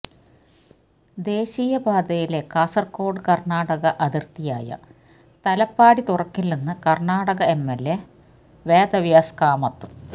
ദേശീയ പാതയിലെ കാസറഗോഡ് കർണാടക അതിർത്തിയായ തലപ്പാടി തുറക്കില്ലെന്ന് കർണാടക എംഎൽഎ വേദവ്യാസ് കാമത്ത്